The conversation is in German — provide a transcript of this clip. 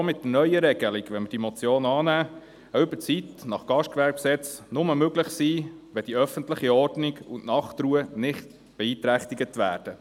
Auch mit der neuen Regelung – wenn wir diese Motion annehmen – darf eine Überzeit nach Gastgewerbegesetz (GGG) nur möglich sein, wenn öffentliche Ordnung und Nachtruhe nicht beeinträchtig werden.